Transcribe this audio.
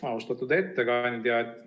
Austatud ettekandja!